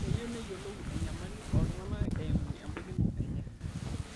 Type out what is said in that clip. Keyieu neyiolou enyamali oo ltung'ana eimu embaikino enye